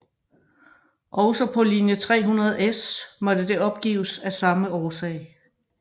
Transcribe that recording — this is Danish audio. Også på linje 300S måtte det opgives af samme årsag